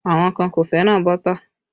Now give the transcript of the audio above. Àwọn kan kò fẹ́ràn bọ́tà